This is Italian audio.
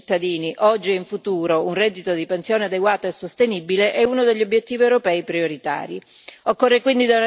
Garantire a tutti i cittadini, oggi e in futuro, un reddito di pensione adeguato e sostenibile è uno degli obiettivi europei prioritari.